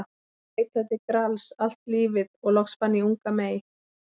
Ég leitaði Grals allt lífið og loks fann ég unga mey.